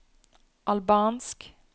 albansk